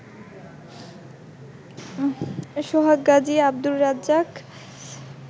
Sohag Gazi, Abdur Razzak